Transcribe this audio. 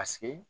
Paseke